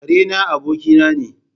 Ƙare na abokina ne.